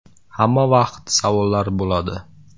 “Hamma vaqt savollar bo‘ladi.